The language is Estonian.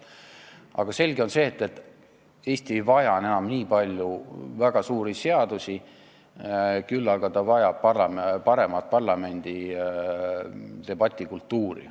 Aga selge on see, et Eesti ei vaja enam nii palju väga suuri seadusi, küll aga vajab ta paremat parlamendi debatikultuuri.